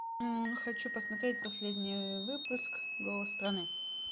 хочу посмотреть последний выпуск голос страны